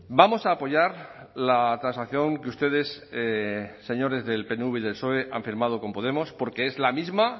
vamos a apoyar la transacción que ustedes señores del pnv y del soe han firmado con podemos porque es la misma